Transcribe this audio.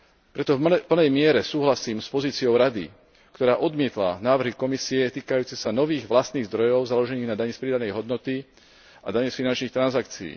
Preto v plnej miere súhlasím s pozíciou Rady, ktorá odmietla návrhy Komisie týkajúce sa nových vlastných zdrojov založených na dani z pridanej hodnoty a dani z finančných transakcií.